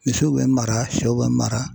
Misiw bɛ mara sɛw bɛ mara.